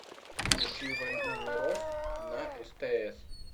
включи войну миров на стс